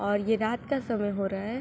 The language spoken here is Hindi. और ये रात का समय हो रहा है।